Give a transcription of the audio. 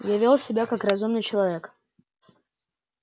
я вёл себя как разумный человек